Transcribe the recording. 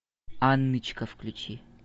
анночка включи